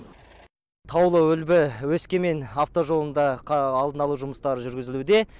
таулы үлбі өскемен автожолында алдын алу жұмыстары жүргізілуде